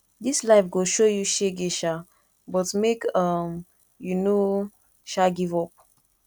dis life go show you shege um but make um you no um give up